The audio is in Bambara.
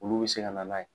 Olu bɛ se ka na n'a ye